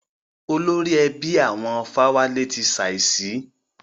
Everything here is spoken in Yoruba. Olórí ẹbí àwọn Fáwálé ti ṣàísí.